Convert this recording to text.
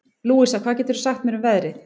Louisa, hvað geturðu sagt mér um veðrið?